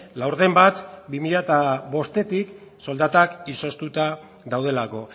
laurden bat bi mila bostetik soldatak izoztuta daudelako